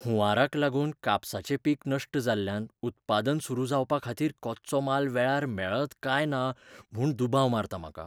हुंवाराक लागून कापसाचें पीक नश्ट जाल्ल्यान उत्पादन सुरू जावपाखातीर कच्चो माल वेळार मेळत काय ना म्हूण दुबाव मारता म्हाका.